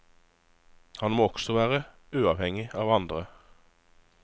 Han må også være uavhengig av andre.